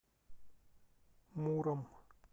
муром